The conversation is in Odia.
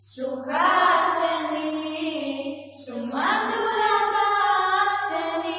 ସୁହାସିନିଂ ସୁମଧୁର ଭାଷିଣିଂ